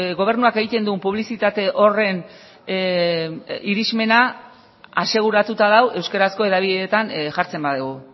gobernuak egiten duen publizitate horren irismena aseguratuta dago euskarazko hedabideetan jartzen badugu